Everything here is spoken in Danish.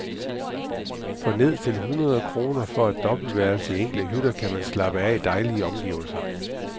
For ned til hundrede kroner for et dobbeltværelse i enkle hytter kan man slappe af i dejlige omgivelser.